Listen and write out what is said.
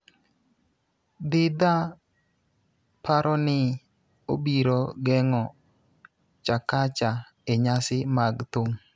Dhidha paro ni obiro geng'o Chakacha e nyasi mag thum